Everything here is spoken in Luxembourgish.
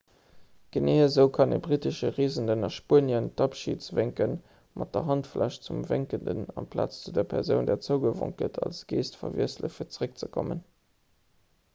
genee esou kann e brittesche reesenden a spuenien en abschidswénken mat der handfläch zum wénkenden amplaz zu der persoun där zougewonk gëtt als gest verwiesselen fir zeréckzekommen